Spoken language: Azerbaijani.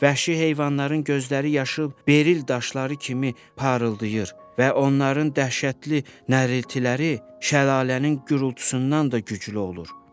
Vəhşi heyvanların gözləri yaşıl beril daşları kimi parıldayır və onların dəhşətli nəriltiləri şəlalənin gurultusundan da güclü olur.